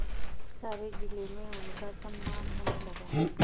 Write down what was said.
सारे जिले में उनका सम्मान होने लगा